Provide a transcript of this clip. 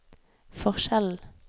forskjellen